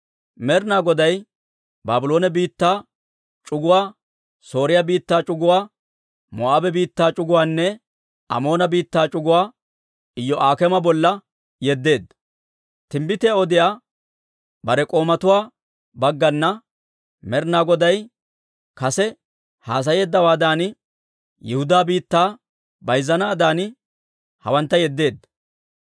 Med'ina Goday Baabloone biittaa c'uguwaa, Sooriyaa biittaa c'uguwaa, Moo'aabe biittaa c'uguwaanne Amoona biittaa c'uguwaa Iyo'aak'eema bolla yeddeedda; timbbitiyaa odiyaa bare k'oomatuwaa baggana Med'ina Goday kase haasayeeddawaadan, Yihudaa biittaa bayzzanaadan hawantta yeddeedda.